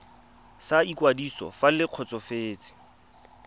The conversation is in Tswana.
sa ikwadiso fa le kgotsofetse